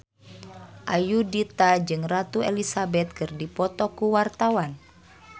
Ayudhita jeung Ratu Elizabeth keur dipoto ku wartawan